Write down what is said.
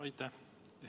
Aitäh!